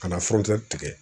Ka na tigɛ